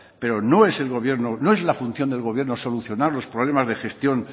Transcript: pero no es el gobierno la función del gobierno solucionar los problemas de gestión